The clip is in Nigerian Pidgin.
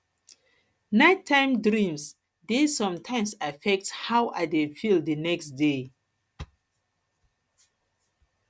nighttime dreams dey sometimes affect how i dey feel the next um day